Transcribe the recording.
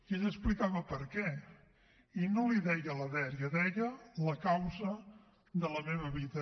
ell explicava per què i no en deia la dèria en deia la causa de la meva vida